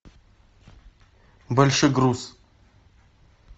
большегруз